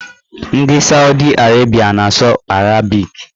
Ndị Saudi Arabịa na-asụ arabik